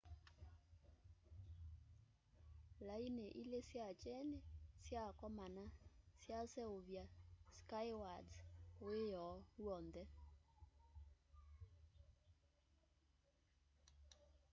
laini ili sya kyeni syakomana syaseuvya skywards wioo wonthe